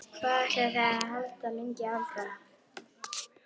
Hvað ætlið þið að halda lengi áfram?